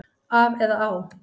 Af eða á?